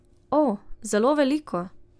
O, zelo veliko.